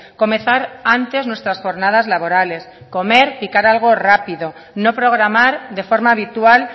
comenzar antes nuestras jornadas laborales comer picar algo rápido no programar de forma habitual